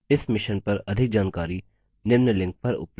इस mission पर अधिक जानकारी निम्न लिंक पर उपलब्ध है